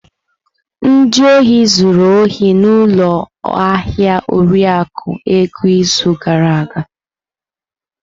Ndị ohi zuru ohi n'ụlọ ahịa Oriakụ Ego izu gara aga.